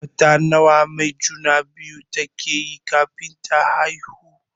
Wata nawa mai juna-biyu take yi kafin ta haihu?